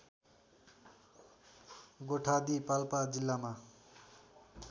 गोठादी पाल्पा जिल्लामा